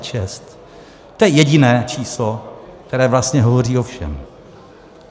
To je jediné číslo, které vlastně hovoří o všem.